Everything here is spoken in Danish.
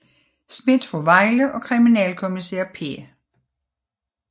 Schmidt fra Vejle og kriminalkommissær P